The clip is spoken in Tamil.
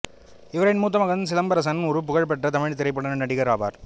இவரின் மூத்த மகன் சிலம்பரசன் ஒரு புகழ்பெற்ற தமிழ் திரைப்பட நடிகர் ஆவார்